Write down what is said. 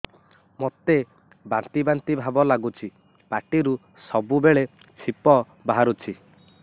ମୋତେ ବାନ୍ତି ବାନ୍ତି ଭାବ ଲାଗୁଚି ପାଟିରୁ ସବୁ ବେଳେ ଛିପ ବାହାରୁଛି